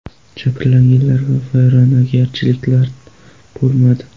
Jabrlanganlar va vayronagarchiliklar bo‘lmadi.